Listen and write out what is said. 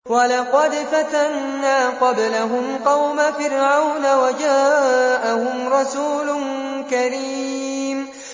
۞ وَلَقَدْ فَتَنَّا قَبْلَهُمْ قَوْمَ فِرْعَوْنَ وَجَاءَهُمْ رَسُولٌ كَرِيمٌ